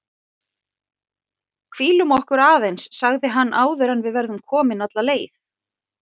Hvílum okkur aðeins sagði hann áður en við verðum komin alla leið